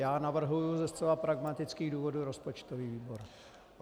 Já navrhuji ze zcela pragmatických důvodů rozpočtový výbor.